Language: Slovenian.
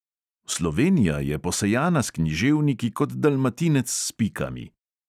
Slovenija je posejana s književniki kot dalmatinec s pikami!